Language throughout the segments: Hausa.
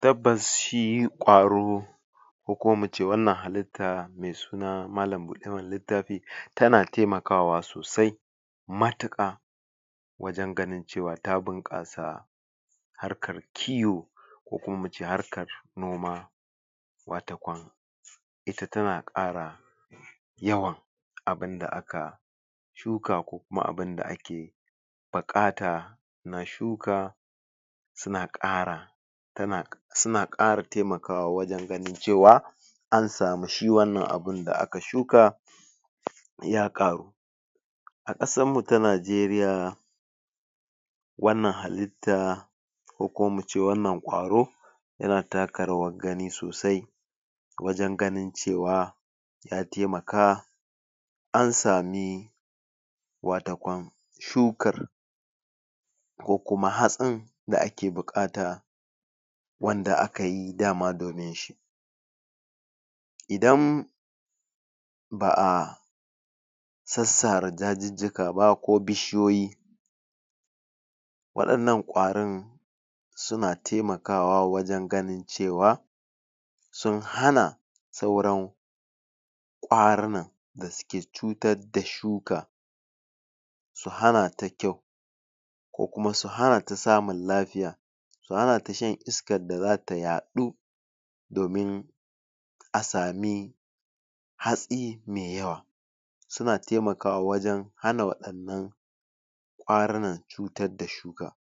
tabbas shi ƙwaro ko kuma muce wannan halitta me suna malam buɗe mana littafi tana taimakawa sosai matuƙa wajan ganin cewa ta bunƙasa har kar kiwo ko kuma muce harkar noma watakon ita tana ƙara yawan abun da aka shuka ko kuma abunda ake buƙata a shuka suna ƙara suna ƙara taimakawa wajan ganin cewa ansamu shi wannan abunda aka shuka ya ƙaru a ƙasarmu ta nigeria wannan halitta ko kuma muce wannan ƙwaro tana taka rawar gani sosai wajan ganin cewa ya taimaka ansami watakam shukar ko kuma hatsin da ake buƙata wanda akayi dama dominshi idan ba a sassara dajijjika ba ko bishiyoyi waɗannan ƙwarin suna taimakawa wajan ganin cewa sun hana sauran ƙwarinan da suke cutar da shuka su hanata kyau ko kuma su hanata samun lafiya su hanata shan iskar da zata yaɗu domin asami hatsi me yawa suna taimaka wa wajan hana waɗannan ƙwarinan cutar da shuka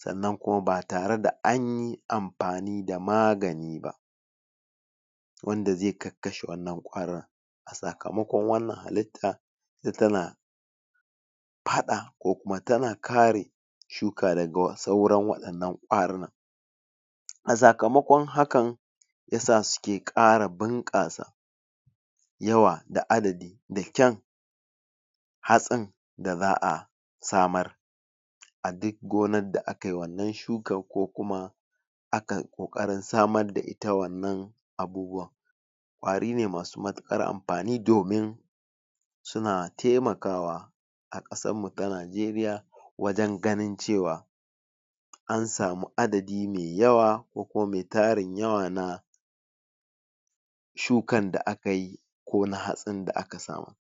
sannan kuma ba tare da anyi amfani da magani ba wanda zai kakkashe wannan ƙwarin a sakamaƙon wannan halitta tana faɗa ko kuma tana kare shuka daga sauran waɗannan ƙwarinan a sakamaƙon hakan yasa suke ƙara bunƙasa yawa da adadi da ƙyan hatsin da za a samar a duk gonar da akai wannan shukar ko kuma akai ƙoƙarin samar da ita wannan abubuwan ƙwari ne masu matuƙar amfani domin suna taimakawa a ƙasarmu ta nigeria wajan ganin cewa ansamu adadi me yawa ko kuma me tarin yawa na shukan da akayi ko na hatsi da aka samu